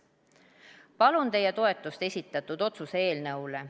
Palun teie toetust esitatud otsuse eelnõule.